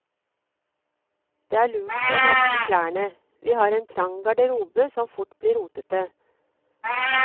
Det er lurt å merke klærne, vi har en trang garderobe som fort blir rotet.